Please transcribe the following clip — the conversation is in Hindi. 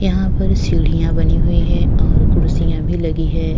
यहा पर सीढियाँ बनी हुई हैं और कुर्सियां भी लगी हैं।